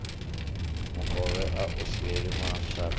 mukovhe a u siela mashaka